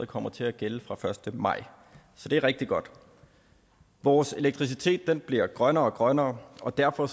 kommer til at gælde fra den første maj så det er rigtig godt vores elektricitet bliver grønnere og grønnere og derfor